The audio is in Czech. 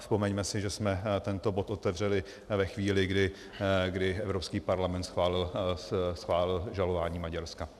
Vzpomeňme si, že jsme tento bod otevřeli ve chvíli, kdy Evropský parlament schválil žalování Maďarska.